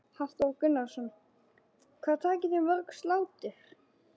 Hafþór Gunnarsson: Hvað takið þið mörg slátur?